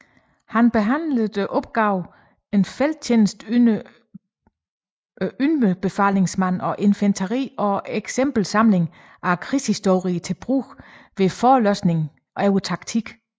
Han behandlede opgaverne En Felttjeneste for Underbefalingsmænd af Infanteriet og Exempelsamling af Krigshistorien til Brug ved Forelæsninger over Taktik